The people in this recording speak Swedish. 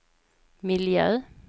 miljö